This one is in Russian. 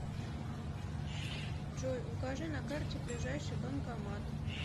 джой укажи на карте ближайший банкомат